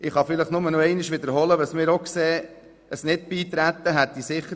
Ich kann nur noch einmal wiederholen, was wir auch finden: